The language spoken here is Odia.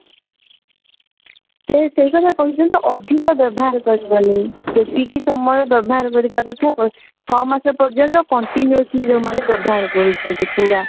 ସେ ସେଇ କଥା କହିଛନ୍ତି ଅଧିକ ବ୍ୟବହାର କରିବନି ଯେତିକି ସମୟ ବ୍ୟବହାର କରିବା କଥା ଛଅ ମାସ ପର୍ଯ୍ୟନ୍ତ continuously ଯଉମାନେ ବ୍ୟବହାର କରୁଛନ୍ତି ପୁରା